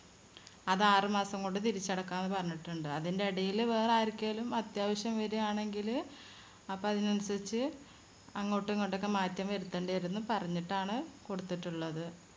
അത് ആറുമാസം കൊണ്ട് തിരിച്ചടക്കാം എന്ന് പറഞ്ഞിട്ടുണ്ട്. അതിനിടയില് വേറെ ആർക്കേലും അത്യാവശ്യം വരുവാണെങ്കില് അപ്പോ അതിനനുസരിച്ച് അങ്ങോട്ടും ഇങ്ങോട്ടും ഒക്കെ മാറ്റം വരുത്തണ്ടിവരും എന്ന് പറഞ്ഞിട്ടാണ് കൊടുത്തിട്ടുള്ളത്.